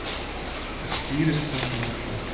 Það skýrist samt á morgun.